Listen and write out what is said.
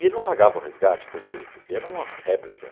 E ele não pagava o resgate, por quê? Por que era uma réplica.